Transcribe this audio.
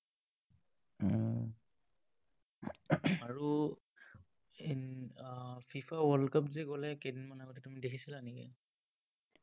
আৰু ah FIFA world cup যে গ'লে কেইদিনমান আগত, তুমি দেখিছিলা নেকি?